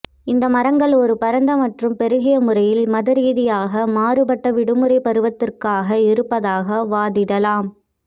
இந்த மரங்கள் ஒரு பரந்த மற்றும் பெருகிய முறையில் மதரீதியாக மாறுபட்ட விடுமுறை பருவத்திற்காக இருப்பதாக வாதிடலாம்